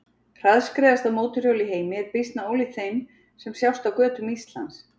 Hraðskreiðasta mótorhjól í heimi er býsna ólíkt þeim sem sjást á götum Íslands.